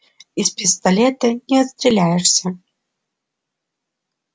из пистолета не отстреляешься